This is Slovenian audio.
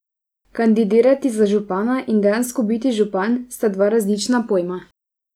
Kandidirati za župana in dejansko biti župan, sta dva različna pojma.